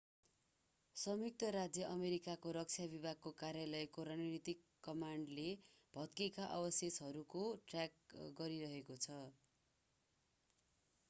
संयुक्त राज्य अमेरिकाको रक्षा विभागको कार्यालयको रणनीतिक कमान्डले भत्केका अवशेषहरूको ट्र्याक गरिरहेको छ